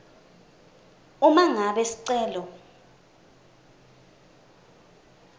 uma ngabe sicelo